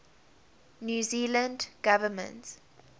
new zealand government